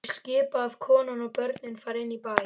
Ég skipa að konan og börnin fari inn í bæ.